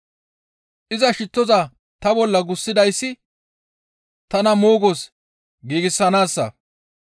Iza shittoza ta bolla gussidayssi tana moogos giigsanaassa.